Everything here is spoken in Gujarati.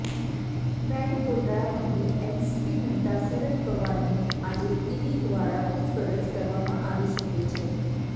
બેંક ગોટાળા મામલે એનસીપી નેતા શરદ પવારની આજે ઈડી દ્વારા પૂછપરછ કરવામાં આવી શકે છે